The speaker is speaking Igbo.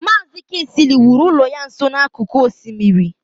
Maazi kingsley wuru ụlọ ya nso n'akụkụ osimiri.